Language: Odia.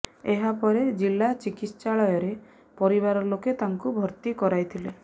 ଏହାପରେ ଜିଲ୍ଲା ଚିକିତ୍ସାଳୟରେ ପରିବାର ଲୋକେ ତାଙ୍କୁ ଭର୍ତ୍ତି କରାଇଥିଲେ